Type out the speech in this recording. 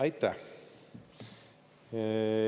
Aitäh!